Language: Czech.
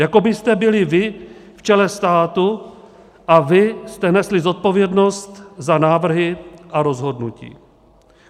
Jako byste byli vy v čele státu a vy jste nesli zodpovědnost za návrhy a rozhodnutí.